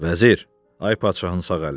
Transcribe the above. Vəzir, ay padşahın sağ əli.